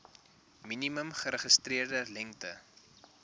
minimum geregistreerde lengte